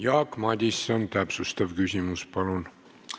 Jaak Madison, täpsustav küsimus, palun!